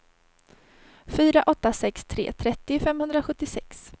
fyra åtta sex tre trettio femhundrasjuttiosex